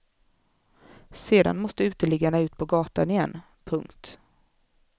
Sedan måste uteliggarna ut på gatan igen. punkt